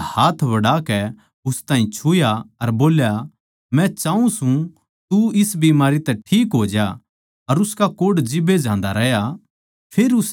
उसनै हाथ बढ़ाकै उस ताहीं छुया अर बोल्या मै चाऊँ सूं तू इस बीमारी तै ठीक हो ज्या अर उसका कोढ़ जिब्बे जांदा रह्या